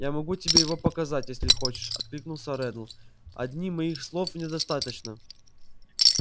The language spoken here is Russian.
я могу тебе его показать если хочешь откликнулся реддл одних моих слов недостаточно